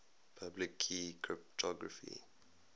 public key cryptography